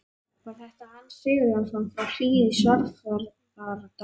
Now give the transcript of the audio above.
Var þetta Hans Sigurjónsson frá Hlíð í Svarfaðardal?